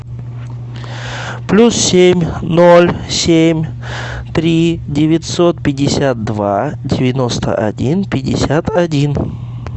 плюс семь ноль семь три девятьсот пятьдесят два девяносто один пятьдесят один